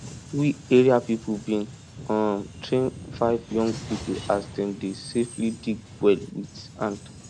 we area people bin um train five young people as dem dey safely dig well with hand